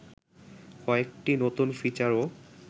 কয়েকটি নতুন ফিচারও